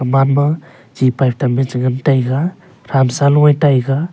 aman ma chepet them che ngan taiga samsa luya taiga.